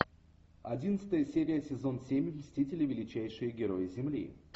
одиннадцатая серия сезон семь мстители величайшие герои земли